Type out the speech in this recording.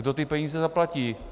Kdo ty peníze zaplatí?